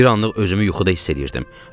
Bir anlıq özümü yuxuda hiss eləyirdim.